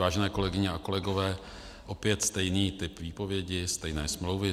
Vážené kolegyně a kolegové, opět stejný typ výpovědi, stejné smlouvy.